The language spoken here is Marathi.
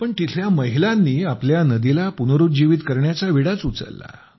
पण तिथल्या महिलांनी आपल्या नदीला पुनरुज्जीवित करण्याचा विडाच उचलला